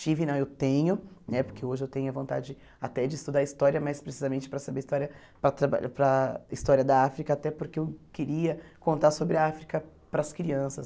Tive, não, eu tenho, né porque hoje eu tenho a vontade até de estudar História, mais precisamente para saber História, para trabalhar para a História da África, até porque eu queria contar sobre a África para as crianças.